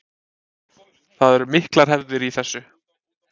Það eru miklar hefðir í þessu